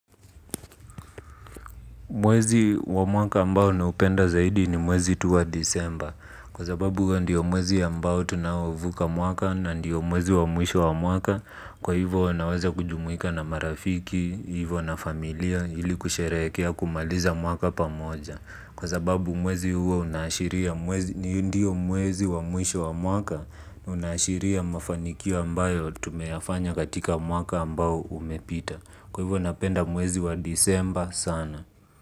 Mwezi wa mwaka ambao na upenda zaidi ni mwezi tuwa disemba. Kwa sababu ndiyo mwezi ambao tunaouvuka mwaka na ndiyo mwezi wa mwisho wa mwaka. Kwa hivyo huwanaweza kujumuika na marafiki, hivyo na familia ili kusherehekea kumaliza mwaka pamoja. Kwa sababu mwezi huo unaashiria mwezi ni ndiyo mwezi wa mwisho wa mwakana unaashiria mafanikio ambayo tumeyafanya katika mwaka ambao umepita. Kwa hivyo napenda mwezi wa disemba sana.